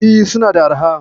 E, suna da arha.